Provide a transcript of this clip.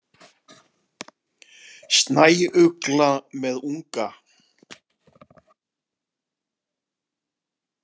Snæugla með unga.